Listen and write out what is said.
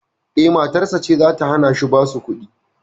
Eh, matarsa ce zata hanashi basu kuɗi